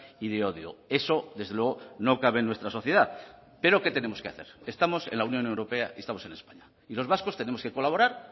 y de odio eso desde luego no cabe en nuestra sociedad pero qué tenemos que hacer estamos en la unión europea y estamos en españa y los vascos tenemos que colaborar